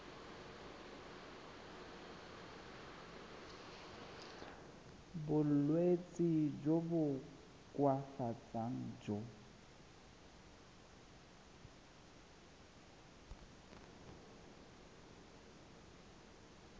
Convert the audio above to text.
bolwetsi jo bo koafatsang jo